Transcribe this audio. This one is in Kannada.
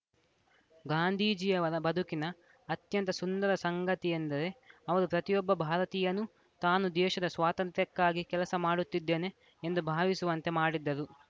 ಗಾಂಧೀಜಿಯವರ ಬದುಕಿನ ಅತ್ಯಂತ ಸುಂದರ ಸಂಗತಿಯೆಂದರೆ ಅವರು ಪ್ರತಿಯೊಬ್ಬ ಭಾರತೀಯನೂ ತಾನು ದೇಶದ ಸ್ವಾತಂತ್ರ್ಯಕ್ಕಾಗಿ ಕೆಲಸ ಮಾಡುತ್ತಿದ್ದೇನೆ ಎಂದು ಭಾವಿಸುವಂತೆ ಮಾಡಿದ್ದರು